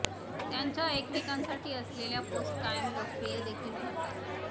त्यांच्या एकमेकांसाठी असलेल्या पोस्ट कायम लोकप्रिय देखील ठरतात